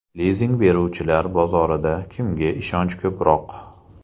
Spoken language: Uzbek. Lizing beruvchilar bozorida kimga ishonch ko‘proq?